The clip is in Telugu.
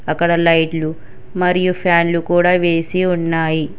అక్కడ లైట్లు మరియు ఫ్యాన్లు కూడా వేసి ఉన్నాయి.